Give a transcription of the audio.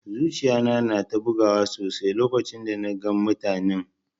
Zuciya na na ta bugu sosai lokacin da na gan mutanen.